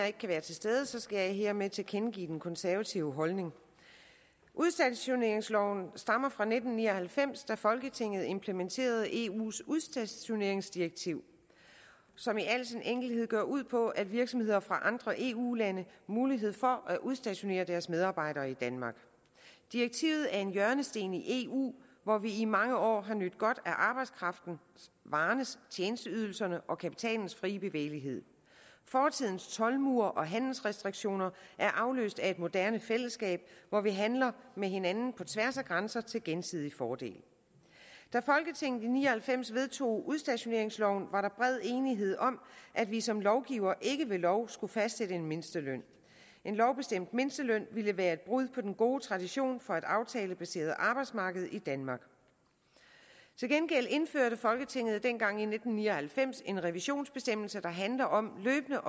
ikke kan være til stede skal jeg hermed tilkendegive den konservative holdning udstationeringsloven stammer fra nitten ni og halvfems da folketinget implementerede eu’s udstationeringsdirektiv som i al sin enkelhed går ud på at give virksomheder fra andre eu lande mulighed for at udstationere deres medarbejdere i danmark direktivet er en hjørnesten i eu hvor vi i mange år har nydt godt af arbejdskraftens varernes tjenesteydelsernes og kapitalens frie bevægelighed fortidens toldmure og handelsrestriktioner er afløst af et moderne fællesskab hvor vi handler med hinanden på tværs af grænser til gensidig fordel da folketinget i nitten ni og halvfems vedtog udstationeringsloven var der bred enighed om at vi som lovgivere ikke ved lov skulle fastsætte en mindsteløn en lovbestemt mindsteløn ville være et brud på den gode tradition for et aftalebaseret arbejdsmarked i danmark til gengæld indførte folketinget dengang i nitten ni og halvfems en revisionsbestemmelse der handler om løbende